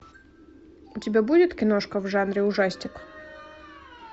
у тебя будет киношка в жанре ужастик